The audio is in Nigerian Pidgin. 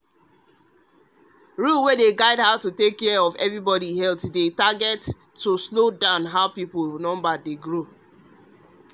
rule wey guide how to take care of everybody healthdey target to slow down how people number dey grow.